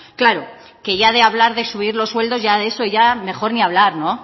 claro que ya de hablar de subir los sueldos ya de eso mejor ni hablar